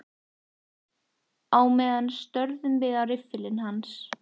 Á meðan störðum við á riffilinn hans.